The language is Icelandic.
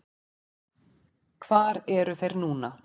Hvar eru þeir núna?